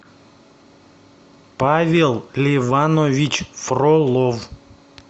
павел леванович фролов